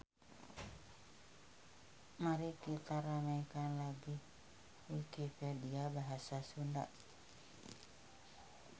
Mari kita ramaikan lagi wikipedia bahasa Sunda.